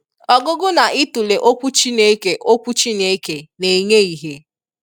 Ọgụgụ na itụle okwu Chineke okwu Chineke na-enye ihe.